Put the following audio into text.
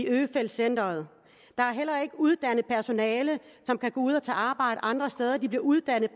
øfeldt centret der er heller ikke uddannet personale som kan gå ud og tage arbejde andre steder de bliver uddannet